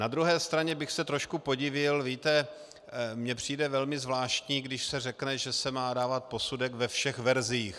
Na druhé straně bych se trošku podivil - víte, mně přijde velmi zvláštní, když se řekne, že se má dávat posudek ve všech verzích.